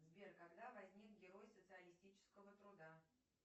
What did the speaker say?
сбер когда возник герой социалистического труда